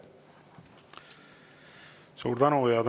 Suur tänu!